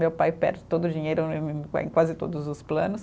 Meu pai perde todo o dinheiro em em quase todos os planos.